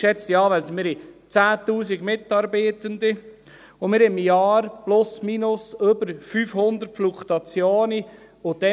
Geschätzte Anwesende, wir haben 10 000 Mitarbeitende, und wir haben pro Jahr plus-minus eine Fluktuation von 500 Mitarbeitenden.